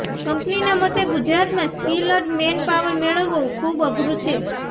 કંપનીના મતે ગુજરાતમાં સ્કિલ્ડ મેનપાવર મેળવવો ખુબ અઘરું છે